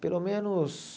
Pelo menos...